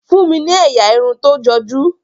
fún mí ní ẹyà Irun tó joju.